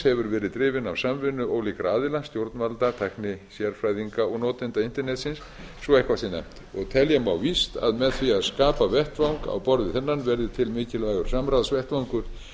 hefur verið drifin af samvinnu ólíkra aðila stjórnvalda tæknisérfræðinga og notenda internetsins svo eitthvað sé nefnt og telja má víst að með því að skapa vettvang á borð við þennan verði til mikilvægur samráðsvettvangur